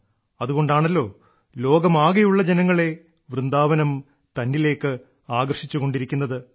അതുകൊണ്ടാണല്ലോ ലോകമാകെയുള്ള ജനങ്ങളെ വൃന്ദാവനം തന്നിലേക്ക് ആകർഷിച്ചുകൊണ്ടിരിക്കുന്നത്